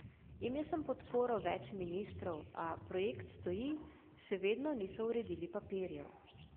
Imel sem podporo več ministrov, a projekt stoji, še vedno niso uredili papirjev.